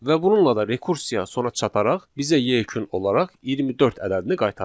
Və bununla da rekursiya sona çataraq bizə yekun olaraq 24 ədədini qaytarır.